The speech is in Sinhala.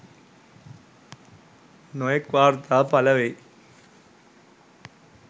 නොයෙක් වාර්තා පළවෙයි.